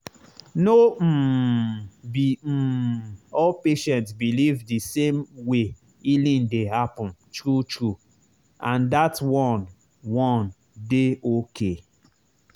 no um be um all patient believe the same way healing dey happen true true—and that one one dey okay.